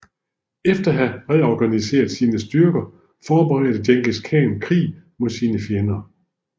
Efter at have reorganiseret sine styrker forberedte Djengis Khan krig mod sine fjender